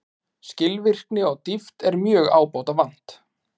Skilvirkni og dýpt er mjög ábótavant